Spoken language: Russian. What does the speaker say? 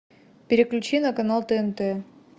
переключи на канал тнт